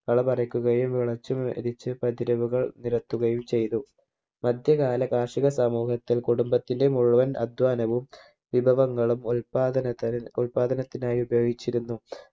കള പറിക്കുകയും മുളച്ച് മെതിച്ച് കതിരുകൾ നിരത്തുകയും ചെയ്തു മധ്യകാല കാർഷിക സമൂഹത്തിൽ കുടുംബത്തിലെ മുഴുവൻ അധ്വാനവും വിഭവങ്ങളും ഉൽപ്പാദനത്തിന് ഉൽപ്പാദനത്തിനായി ഉപയോഗിച്ചിരുന്നു